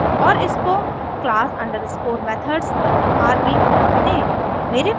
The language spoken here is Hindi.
और इसको class underscore methods dot rb नाम दें